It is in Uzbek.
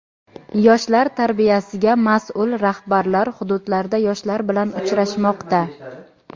Yoshlar tarbiyasiga mas’ul rahbarlar hududlarda yoshlar bilan uchrashmoqda.